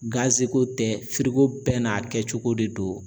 tɛ bɛɛ n'a kɛcogo de don.